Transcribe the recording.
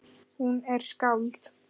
Hún er skáld.